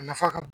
A nafa ka bon